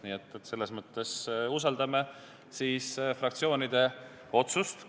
Nii et me usaldame fraktsioonide otsust.